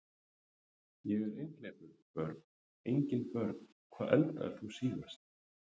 Ég er einhleypur Börn: Engin börn Hvað eldaðir þú síðast?